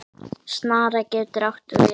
Snara getur átt við